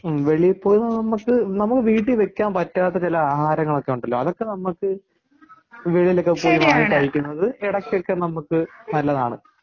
വെളിയിൽ പോയി നമുക്ക് നമുക്ക്വീട്ടിൽ വെക്കാൻ പറ്റാത്ത ചില ആഹാരങ്ങൾ ഒക്കെ ഉണ്ടല്ലോ അതൊക്കെ നമുക്ക് വെളിയിൽ ഒക്കെ പോയി വാങ്ങി കഴിക്കുന്നത് ഇടക്കൊക്കെ നമുക്ക് നല്ലതാണ്